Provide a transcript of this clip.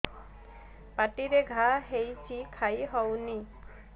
ପାଟିରେ ଘା ହେଇଛି ଖାଇ ହଉନି